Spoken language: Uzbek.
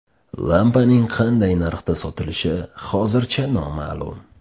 Lampaning qanday narxda sotilishi hozircha noma’lum.